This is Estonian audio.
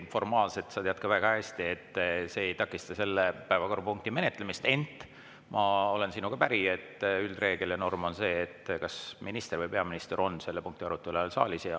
Formaalselt – sa tead seda ka väga hästi – see ei takista selle päevakorrapunkti menetlemist, ent ma olen sinuga päri, et üldreegel ja norm on see, et kas minister või peaminister on selle punkti arutelu ajal saalis.